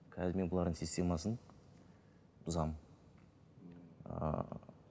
қазір мен бұлардың системасын бұзамын ыыы